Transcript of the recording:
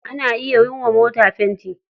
Ana iya yi wa mota fenti.